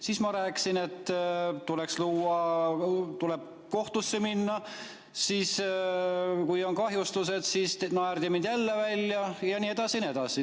Siis ma rääkisin, et tuleks kohtusse minna, kui on kahjustused – jälle naerdi mind välja ja nii edasi ja nii edasi.